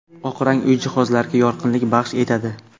Oq rang uy jihozlariga yorqinlik baxsh etadi.